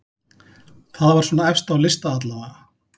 Það var svona efst á lista allavega.